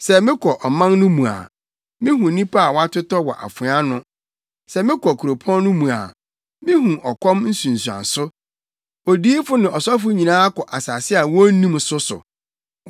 Sɛ mekɔ ɔman no mu a, mihu nnipa a wɔatotɔ wɔ afoa ano; sɛ mekɔ kuropɔn no mu a mihu ɔkɔm nsunsuanso. Odiyifo ne ɔsɔfo nyinaa kɔ asase a wonnim so so.’ ”